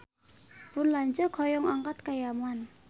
Pun lanceuk hoyong angkat ka Yaman